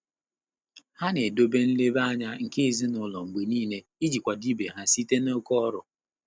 Há nà-édòbé nlèbá ányá nké èzínụ́lọ́ mgbè níílé ìjí kwàdò íbé há sìté n’óké ọ́rụ́.